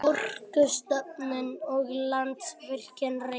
Orkustofnun og Landsvirkjun, Reykjavík.